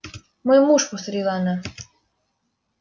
мой муж повторила она